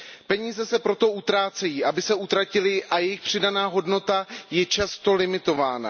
Peníze se proto utrácejí, aby se utratily, a jejich přidaná hodnota je často limitována.